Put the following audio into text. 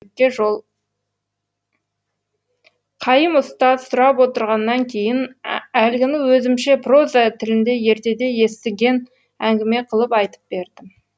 қайым ұстаз сұрап отырғаннан кейін әлгіні өзімше проза тілінде ертеде естіген әңгіме қылып айтып бердім